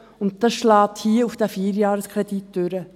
Dies schlägt sich hier auf diesen Vierjahreskredit nieder.